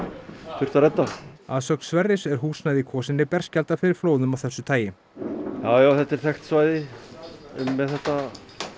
þurfti að redda að sögn Sverris er húsnæði í Kvosinni berskjaldað fyrir flóðum af þessu tagi já já þetta er þekkt svæði með þetta